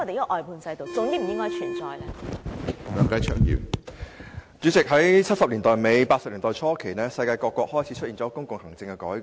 主席，在1970年代末、1980年代初，世界各國開始進行公共行政改革。